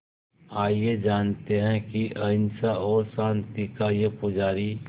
आइए जानते हैं कि अहिंसा और शांति का ये पुजारी